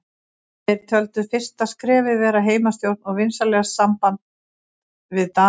Þeir töldu fyrsta skrefið vera heimastjórn og vinsamlegt samband við Dani.